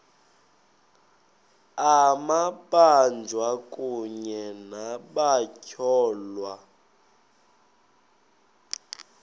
amabanjwa kunye nabatyholwa